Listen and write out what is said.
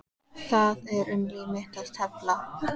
Það er um líf mitt að tefla.